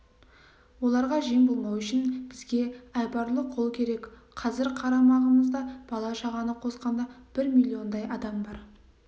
оларға жем болмау үшін бізге айбарлы қол керек қазір қарамағымызда бала-шағаны қосқанда бір миллиондай адам бар